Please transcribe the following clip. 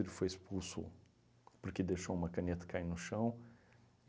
Ele foi expulso porque deixou uma caneta cair no chão.